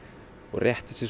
rétti sig